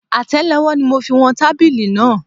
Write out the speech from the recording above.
Atẹlowó ni mo fi wọn tábìlì náà.